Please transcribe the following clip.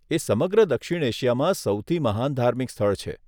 એ સમગ્ર દક્ષિણ એશિયામાં સૌથી મહાન ધાર્મિક સ્થળ છે.